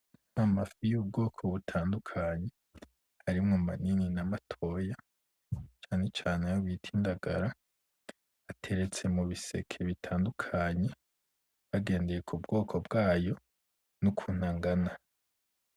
Amafi y'ubwoko butatundakanye arimwo manini n'amatoya cane cane ayo bita indagara ateretse mubiseke bitandukanye bagendeye kubwoko bwayo nukuntu angana.